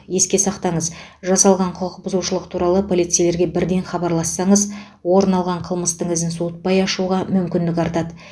еске сақтаңыз жасалған құқық бұзушылық туралы полицейлерге бірден хабарлассаңыз орын алған қылмыстың ізін суытпай ашуға мүмкіндік артады